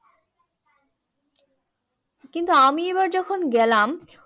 কিন্তু আমি এবার যখন গেলাম